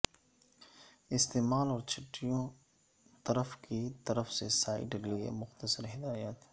استعمال اور چھٹیوں طرف کی طرف سے سائڈ لئے مختصر ہدایات